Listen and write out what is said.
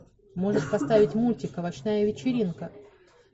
можешь поставить мультик овощная вечеринка